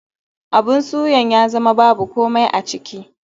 Abun suyan ya zama babu komai a ciki.